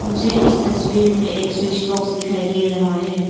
मुझे इस तस्वीर में एक स्विच बॉक्स दिखाई दे रहा है।